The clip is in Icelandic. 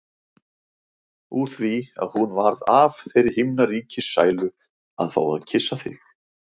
Úr því að hún varð af þeirri himnaríkissælu að fá að kyssa þig.